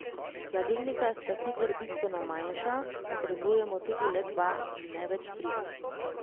Hladilnika sta sicer bistveno manjša, potrebujemo tudi le dva in ne več tri.